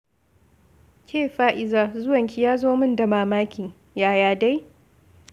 Ke Faiza, zuwanki ya zo min da mamaki! Yaya dai?